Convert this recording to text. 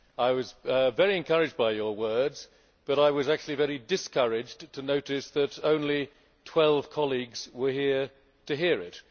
I was very encouraged by your words, but was very discouraged to notice that only 12 colleagues were here to hear it.